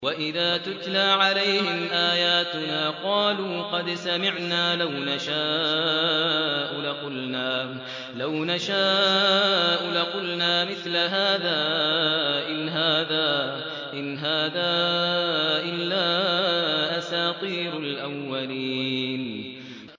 وَإِذَا تُتْلَىٰ عَلَيْهِمْ آيَاتُنَا قَالُوا قَدْ سَمِعْنَا لَوْ نَشَاءُ لَقُلْنَا مِثْلَ هَٰذَا ۙ إِنْ هَٰذَا إِلَّا أَسَاطِيرُ الْأَوَّلِينَ